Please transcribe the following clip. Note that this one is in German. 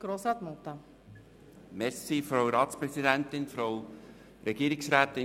Kann jemand an seiner Stelled auf den Knopf drücken?